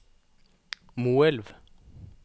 Moelv